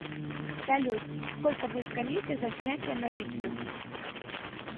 салют сколько будет коммисия за снятие наличных